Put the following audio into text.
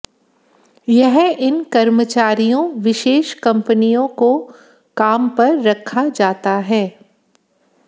यह इन कर्मचारियों विशेष कंपनियों को काम पर रखा जाता है